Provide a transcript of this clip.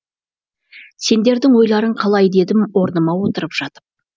сендердің ойларың қалай дедім орныма отырып жатып